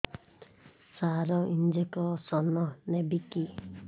ସାର injection ନେବିକି